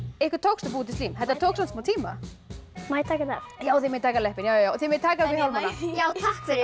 ykkur tókst að búa til slím þetta tók samt smá tíma má ég taka þetta af já þið megið taka leppinn og þið megið taka hjálmana já takk